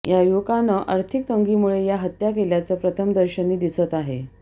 या युवकांनं आर्थिक तंगीमुळे या हत्या केल्याचं प्रथमदर्शनी दिसत आहे